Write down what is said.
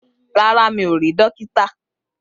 Rárá, mi ò rí dókítà